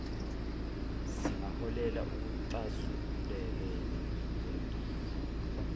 zingaholeli ekuxazululekeni kwenkinga